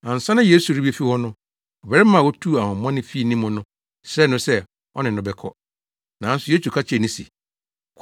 Ansa na Yesu rebefi hɔ no, ɔbarima a otuu ahonhommɔne fii ne mu no srɛɛ no sɛ ɔne no bɛkɔ. Nanso Yesu ka kyerɛɛ no se,